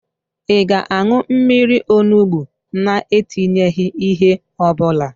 Ị ga-an̄ụ mmiri onugbo na-etinyeghị ihe ọbụla?